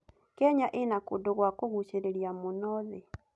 Kenya ĩna kũndũ gwa kũgucĩrĩria mũno thĩ.